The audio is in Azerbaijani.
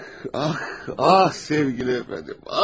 Ax, ax, ax, sevgili efendim.